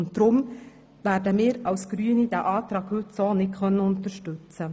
Deshalb werden wir Grünen diesen Antrag heute nicht unterstützen.